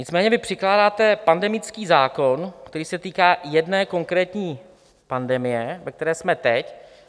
Nicméně vy předkládáte pandemický zákon, který se týká jedné konkrétní pandemie, ve které jsme teď.